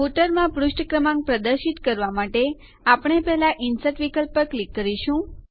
ફૂટરમાં પુષ્ઠ ક્રમાંક પ્રદર્શિત કરવા માટે આપણે પહેલા ઇન્સર્ટ વિકલ્પ ઉપર ક્લિક કરીશું